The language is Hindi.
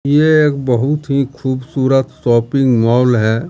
ये एक बहुत ही खूबसूरत शॉपिंग मॉल है।